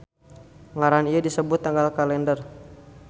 Ngaran ieu disebut tanggal kalender.